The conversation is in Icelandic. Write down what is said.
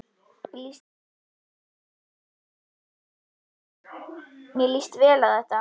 Mér líst vel á þetta.